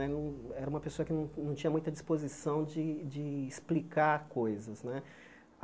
Era um era uma pessoa que não não tinha muita disposição de de explicar coisas né.